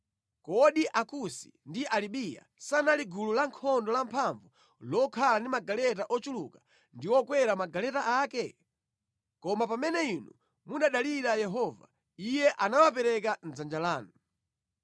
Kodi Akusi ndi Alibiya sanali gulu lankhondo lamphamvu lokhala ndi magaleta ochuluka ndi okwera magaleta ake? Koma pamene inu munadalira Yehova, Iye anawapereka mʼdzanja lanu.